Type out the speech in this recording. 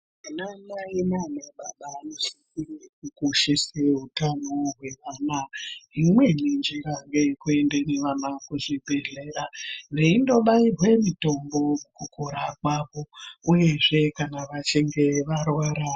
Anamai nanababa anosise kukoshese utano hweana imweni njira ngeye kuenda nevana kuzviibhehleya veindobairwe mitombo mukukura kwavo uyezve kana veinge varwara.